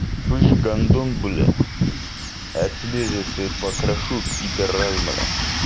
слышь гандон бля я тебе же все и покрошу пидорас бля